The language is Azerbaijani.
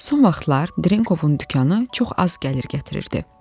Son vaxtlar Drenkovun dükanı çox az gəlir gətirirdi.